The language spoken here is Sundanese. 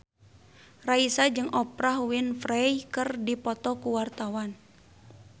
Raisa jeung Oprah Winfrey keur dipoto ku wartawan